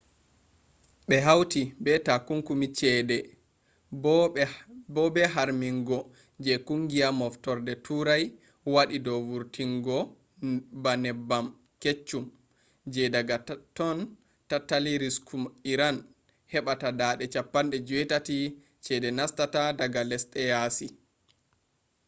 ɓe hawti be takunkumi ceede bo be harmingo je kungiya moftorde turai waɗi dow wurtingobba neebbam keccum je daga totton tattali risku iran heɓɓata 80% ceede nastata daga lesɗe yaasi